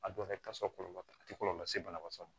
A dɔw yɛrɛ ta so kɔlɔlɔ tɛ a tɛ kɔlɔlɔ se banabatɔ ma